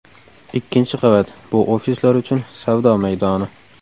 Ikkinchi qavat – bu ofislar uchun savdo maydoni.